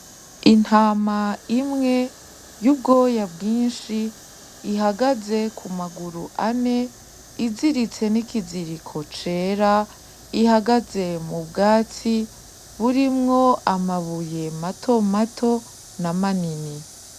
Intama imwe y'ubwoya bwinshi, ihagaze ku maguru ane, iziritse n'ikiziriko cera, ihagaze mu bwatsi burimwo amabuye matomato na manini.